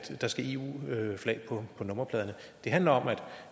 der skal eu flag på nummerpladerne det handler om